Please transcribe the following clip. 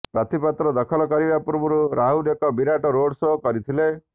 ପ୍ରାର୍ଥିପତ୍ର ଦାଖଲ କରିବା ପୂର୍ବରୁ ରାହୁଲ ଏକ ବିରାଟ ରୋଡ ସୋ କରିଥିଲେ